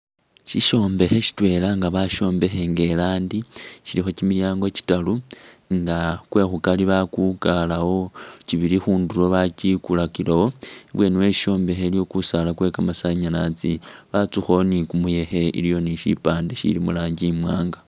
Shishombekhe shitwela nga bashombekha nga elandi shilikho kyimilyango kyitaaru nga kwe'khu kari bakukalawo, kyibili khundulo bakyikulakilewo ,ibweni we shishombekhe iliwo kusaala kwe kamasanyalazi ,batsukhawo ni kumuyekhe ,iliwo ni shipande shili muranji imwanga